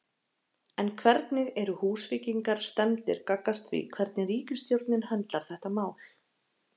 En hvernig eru Húsvíkingar stemmdir gagnvart því hvernig ríkisstjórnin höndlar þetta mál?